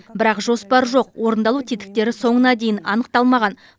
бірақ жоспар жоқ орындалу тетіктері соңына дейін анықталмаған